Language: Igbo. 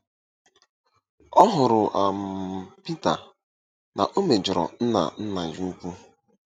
Ọ hụrụ um Pita na o mejọrọ Nna Nna ya ukwu.